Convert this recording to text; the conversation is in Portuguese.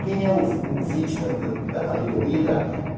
Quem é o vítima da da talidomida?